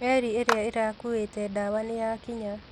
Meri ĩrĩa ĩrakuĩte ndawa nĩyakinya